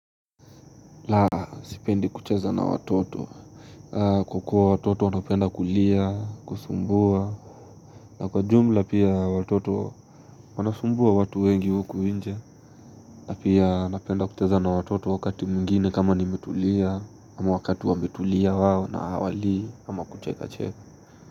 La, sipendi kucheza na watoto kwa kuwa watoto wanapenda kulia, kusumbua na kwa jumla pia watoto wanasumbua watu wengi huku nje. Na pia napenda kucheza na watoto wakati mwingine kama nimetulia ama wakati wametulia wao na hawalii ama kuchekacheka.